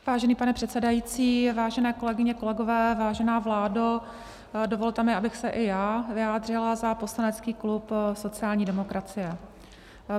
Vážený pane předsedající, vážené kolegyně, kolegové, vážená vládo, dovolte mi, abych se i já vyjádřila za poslanecký klub sociální demokracie.